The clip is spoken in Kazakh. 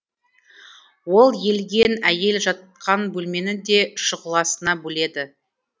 ол елген әйел жатқан бөлмені де шұғыласына бөледі